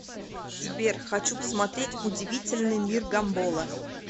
сбер хочу посмотреть удивительный мир гамбола